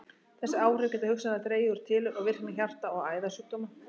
Þessi áhrif geta hugsanlega dregið úr tilurð og virkni hjarta- og æðasjúkdóma.